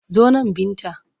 Zo nan Binta!